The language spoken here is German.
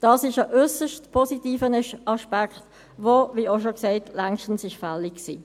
Dies ist ein äusserst positiver Aspekt, der, wie auch schon gesagt wurde, längst fällig war.